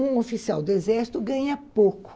Um oficial do Exército ganha pouco.